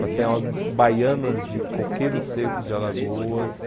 Vai sair umas baianas de Coqueiro Seco, de Alagoas.